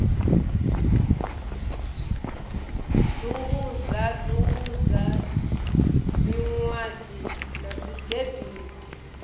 dzungudza dzungudza miṅadzi na dzigebisi